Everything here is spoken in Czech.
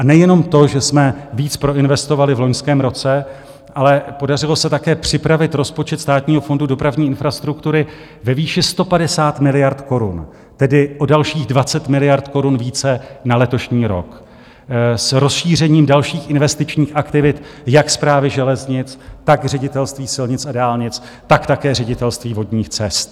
A nejenom to, že jsme víc proinvestovali v loňském roce, ale podařilo se také připravit rozpočet Státního fondu dopravní infrastruktury ve výši 150 miliard korun, tedy o dalších 20 miliard korun více, na letošní rok, s rozšířením dalších investičních aktivit jak Správy železnic, tak Ředitelství silnic a dálnic, tak také Ředitelství vodních cest.